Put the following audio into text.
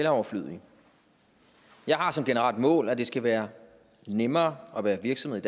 er overflødige jeg har som generelt mål at det skal være nemmere at være virksomhed